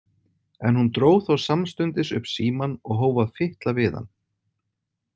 En hún dró þá samstundis upp símann og hóf að fitla við hann.